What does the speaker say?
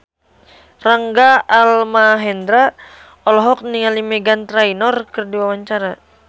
Rangga Almahendra olohok ningali Meghan Trainor keur diwawancara